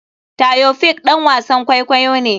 Taofiq ɗan wasan kwaikwayo ne.